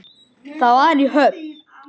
Það var í Höfn.